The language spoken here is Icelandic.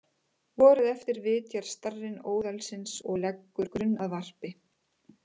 Vorið eftir vitjar starinn óðalsins og leggur grunn að varpi.